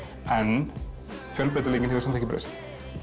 en fjölbreytileikinn hefur samt ekki breyst